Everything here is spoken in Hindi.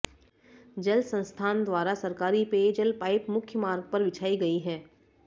जल संस्थान द्वारा सरकारी पेयजल पाइप मुख्य मार्ग पर बिछाई गयी है